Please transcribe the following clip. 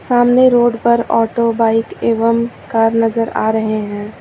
सामने रोड पर auto bike एवं कार नजर आ रहे हैं।